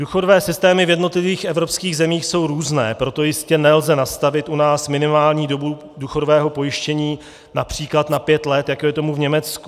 Důchodové systémy v jednotlivých evropských zemích jsou různé, proto jistě nelze nastavit u nás minimální dobu důchodového pojištění například na 5 let, jako je tomu v Německu.